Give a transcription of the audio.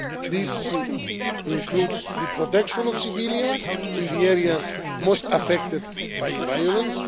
This includes the protection of civilians in the areas most affected by violence.